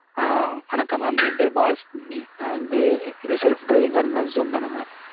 ஆ வணக்கம் mam என் பேரு பாலசுப்பிரமணி. நான் வந்து, இது self driving car rental zoom தானே mam?